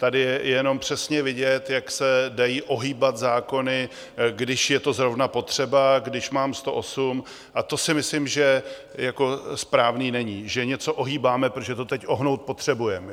Tady je jenom přesně vidět, jak se dají ohýbat zákony, když je to zrovna potřeba, když mám 108, a to si myslím, že správné není, že něco ohýbáme, protože to teď ohnout potřebujeme.